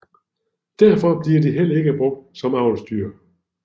Derfor bliver de heller ikke brugt som avlsdyr